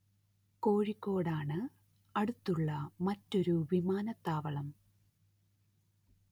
കോഴിക്കോട് ആണ് അടുത്തുള്ള മറ്റൊരു വിമാനത്താവളം